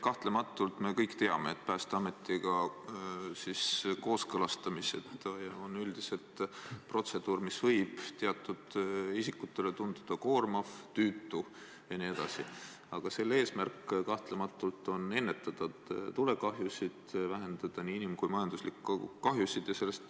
Kahtlemata me kõik teame, et Päästeametiga kooskõlastamised on üldiselt protseduur, mis võib teatud isikutele tunduda koormav, tüütu jne, aga selle eesmärk on ju ennetada tulekahjusid, vähendada nii inim- kui majanduslikke kahjusid.